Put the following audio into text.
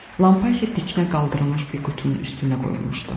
Lampa isə dikinə qaldırılmış bir qutunun üstünə qoyulmuşdu.